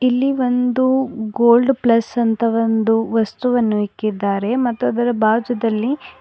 ಇಲ್ಲಿ ಒಂದು gold plus ಅಂತ ಒಂದು ವಸ್ತುವನ್ನು ಇಕ್ಕಿದ್ದಾರೆ ಮತ್ತು ಅದರ ಭಾಜುದಲ್ಲಿ --